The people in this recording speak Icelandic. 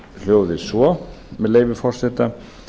hljóði svo með leyfi forseta